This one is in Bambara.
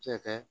Se ka